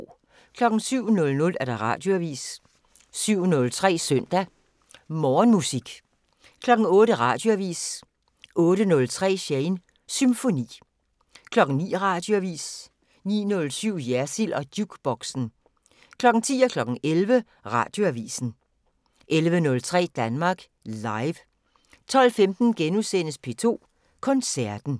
07:00: Radioavisen 07:03: Søndag Morgenmusik 08:00: Radioavisen 08:03: Shanes Symfoni 09:00: Radioavisen 09:07: Jersild & Jukeboxen 10:00: Radioavisen 11:00: Radioavisen 11:03: Danmark Live 12:15: P2 Koncerten *